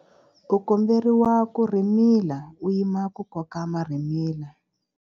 U komberiwa ku rhimila u yima ku koka marhimila.